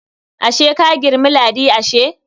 Ashe ka girmi Ladi ashe?